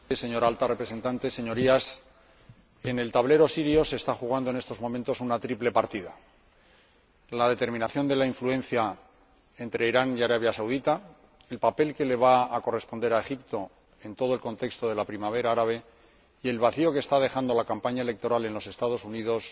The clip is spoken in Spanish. Señor Presidente, Señora Alta Representante, Señorías, en el tablero sirio se está jugando en estos momentos una triple partida la determinación de la influencia entre Irán y Arabia Saudí, el papel que le va a corresponder a Egipto en todo el contexto de la primavera árabe y el vacío que está dejando la campaña electoral en los Estados Unidos